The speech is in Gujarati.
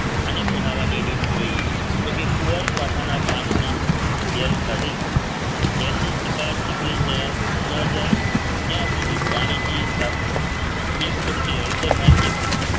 આને બનાવવાની રીત જોઈએ તો કે કુવારપાઠાના પાનની જેલ કાઢીને જેલની ચીકાશ નીકળી જાય ન જાય ત્યાં સુધી પાણીની સાફ કરો એક ચપટી હળદર નાખી